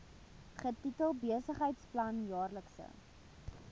getitel besigheidsplan jaarlikse